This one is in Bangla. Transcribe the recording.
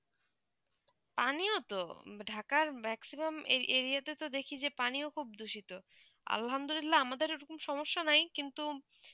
আমিও তো ঢাকার maximum area তো দেখি যে পানীয় খুব দূষিত আলহামদুলিল্লাহ আমাদের ঐই রকম সমস্যা নেই কিন্তু